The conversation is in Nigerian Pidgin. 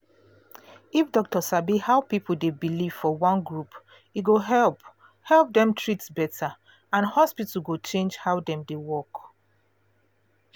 if doctor sabi how people dey believe for one group e go help help dem treat better and hospital go change how dem dey work